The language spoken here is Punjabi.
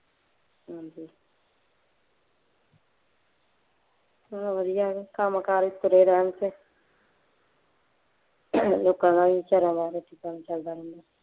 ਚੱਲੋ ਵਧੀਆ ਹੈ, ਕੰਮ ਕਾਜ ਚ ਤੁਰੇ ਰਹਿਣ ਤੇ, ਲੋਕਾਂ ਦਾ ਵੀ ਬੇਚਾਰਿਆਂ ਦਾ ਰੋਟੀ ਪਾਣੀ ਚੱਲਦਾ ਰਹੂ